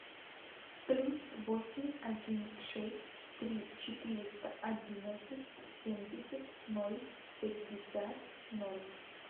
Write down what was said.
плюс восемь один шесть три четыреста одиннадцать семьдесят ноль пятьдесят ноль